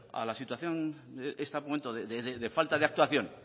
a la situación a este momento de falta de actuación